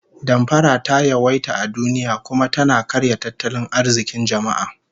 Damfara ta yawaita a duniya, kuma tana karya tattalin arzikin jama'a